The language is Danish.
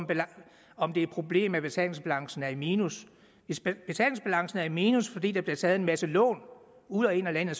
om det er et problem at betalingsbalancen er i minus hvis betalingsbalancen er i minus fordi der bliver taget en masse lån ud og ind af landet